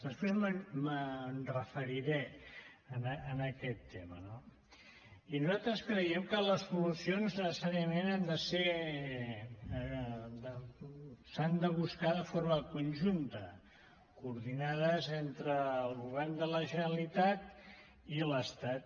després m’hi referiré a aquest tema no i nosaltres creiem que les solucions necessàriament han de ser s’han de buscar de forma conjunta coordinades entre el govern de la generalitat i l’estat